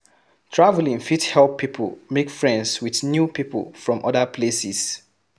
Travelling fit help pipo make friends with new pipo from other places